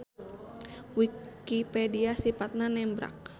Wikipedia sipatna nembrak.